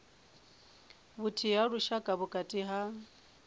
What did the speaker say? vhuthihi ha lushaka vhukati ha